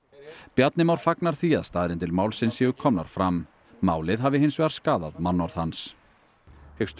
Bjarni Már fagnar því að staðreyndir málsins séu komnar fram málið hafi hins vegar skaðað mannorð hans